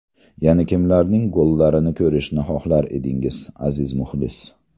Yana kimlarning gollarini ko‘rishni xohlar edingiz, aziz muxlis?